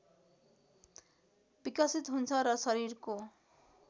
विकसित हुन्छ र शरीरको